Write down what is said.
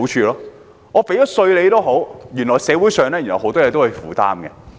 即使繳了稅，原來社會上很多東西仍是要負擔的。